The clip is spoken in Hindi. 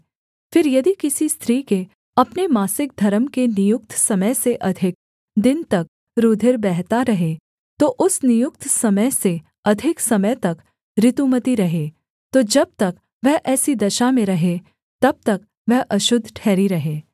फिर यदि किसी स्त्री के अपने मासिक धर्म के नियुक्त समय से अधिक दिन तक रूधिर बहता रहे या उस नियुक्त समय से अधिक समय तक ऋतुमती रहे तो जब तक वह ऐसी दशा में रहे तब तक वह अशुद्ध ठहरी रहे